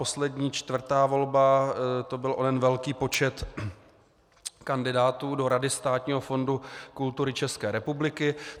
Poslední, čtvrtá volba, to byl onen velký počet kandidátů do Rady Státního fondu kultury České republiky.